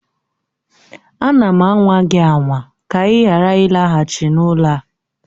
Ana m anwa gị anwa ka ị ghara ịlaghachi n'ụlọ a